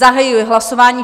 Zahajuji hlasování.